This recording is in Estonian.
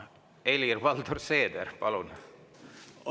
Helir-Valdor Seeder, palun!